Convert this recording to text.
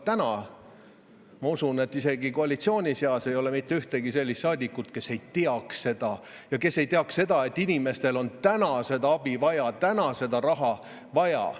Aga ma usun, et isegi koalitsiooni seas ei ole mitte ühtegi sellist saadikut, kes ei teaks seda, et inimestel on täna seda abi vaja, täna seda raha vaja.